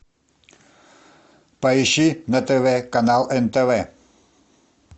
поищи на тв канал нтв